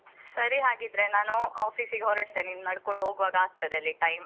ಸರಿ ಹಾಗಾದ್ರೆ ನಾನು office ಗೆ ಹೊರಟೆ ಇನ್ನು ನಡ್ಕೊಂಡು ಹೋಗ್ವಾಗ ಆಗ್ತದೆ ಅಲ್ಲಿ time .